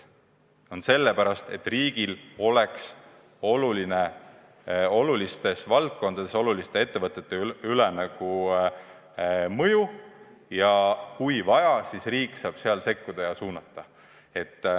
Need on sellepärast, et riigil oleks olulistes valdkondades oluliste ettevõtete üle teatud mõjuvõim ja kui vaja, siis riik saab sekkuda ja suunata.